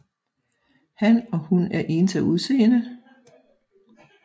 Han og hun er ens af udseende